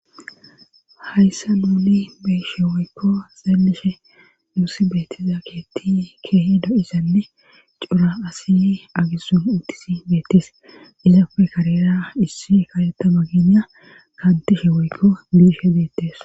Hayssa nuuni beeshe woykko zaallishe nuusi beettiza keetti keehi do7isanne cora asi agessun intisi beettis ilafe karira issi kaletta baginya kaantishe woykko biishe beettes.